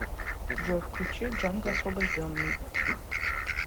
джой включи джанго освобожденный